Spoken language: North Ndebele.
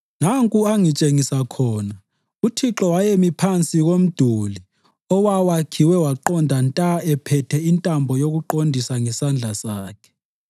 Nanku angitshengisa khona: uThixo wayemi phansi komduli owawakhiwe waqonda nta ephethe intambo yokuqondisa ngesandla sakhe